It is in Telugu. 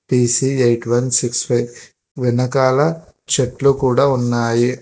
P C eight one six five వెనకాల చెట్లు కూడా ఉన్నాయి.